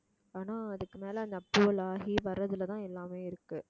ஆனா அதுக்கு மேல அந்த approval ஆகி வர்றதுலதான் எல்லாமே இருக்கு